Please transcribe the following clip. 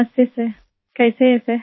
नमस्ते सर कैसे है सर